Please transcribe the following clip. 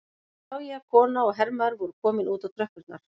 Nú sá ég að kona og hermaður voru komin út á tröppurnar.